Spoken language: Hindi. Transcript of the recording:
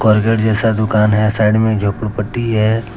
जैसा दुकान है साइड मे एक झोपड़ीपट्टी है।